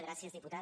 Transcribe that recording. gràcies diputat